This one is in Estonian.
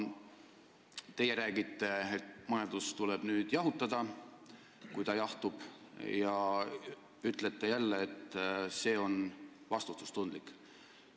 Teie räägite nüüd, et kui majandus jahtub, siis tulebki seda jahutada, ja ütlete jälle, et see on vastutustundlik.